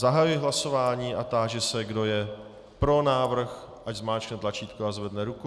Zahajuji hlasování a táži se, kdo je pro návrh, ať zmáčkne tlačítko a zvedne ruku.